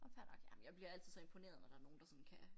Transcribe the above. Åh fair nok jamen jeg bliver altid så imponeret når der nogen der sådan kan